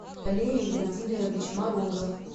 валерий владимирович морозов